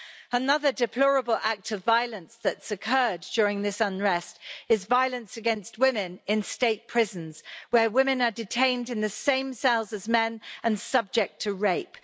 Another deplorable act of violence that's occurred during this unrest is violence against women in state prisons, where women are detained in the same cells as men and subject to rape.